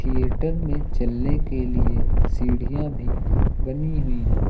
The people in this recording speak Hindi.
थिएटर में चलने के लिए सीढ़ियां भी बनी हुई हैं।